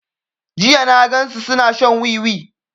Jiya na gan su suna shan wiwi